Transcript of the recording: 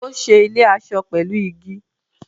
Ó ṣe ilé-aṣọ pẹ̀lú igi.